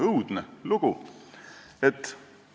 Õudne lugu!